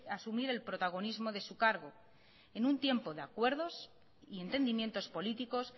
asumir el protagonismo de su cargo en un tiempo de acuerdos y entendimientos políticos